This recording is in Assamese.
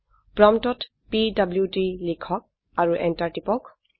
প্ৰম্পটত পিডিডি লিখক আৰু এন্টাৰ টিপক